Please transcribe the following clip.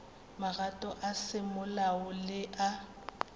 magato a semolao le a